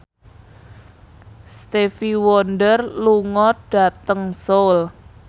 Stevie Wonder lunga dhateng Seoul